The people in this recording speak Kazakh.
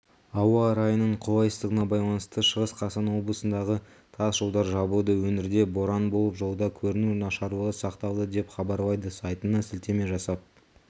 ауа райының қолайсыздығына байланысты шығыс қазақстан облысындағытас жолдар жабылды өңірде боран болып жолда көріну нашарлығы сақталады деп хабарлайды сайтына сілтеме жасап